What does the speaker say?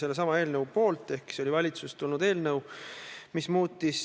Minu soov oli panna iseseisvuse taastanud Eesti peaministrite fotod.